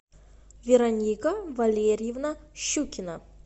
вероника валерьевна щукина